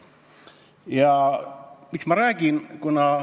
Aga miks ma seda räägin?